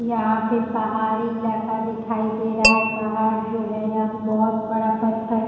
यहाँ पे पहाड़ी इलाका दिखाई दे रहा है। पहाड़ जो है यहाँ पे बोहत बड़ा पत्थर --